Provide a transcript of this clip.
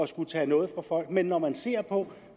skulle tage noget fra folk men når man ser på